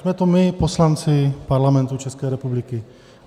Jsme to my, poslanci Parlamentu České republiky.